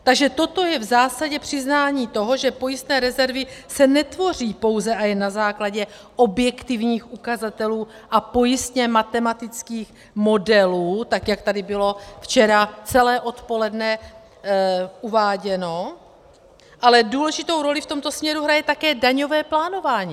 Takže toto je v zásadě přiznání toho, že pojistné rezervy se netvoří pouze a jen na základě objektivních ukazatelů a pojistně matematických modelů, tak jak tady bylo včera celé odpoledne uváděno, ale důležitou roli v tomto směru hraje také daňové plánování.